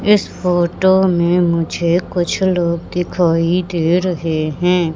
इस फोटो में मुझे कुछ लोग दिखाई दे रहे हैं।